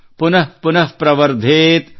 ಪುನಃ ಪುನಃ ಪ್ರವರ್ಧೇತ್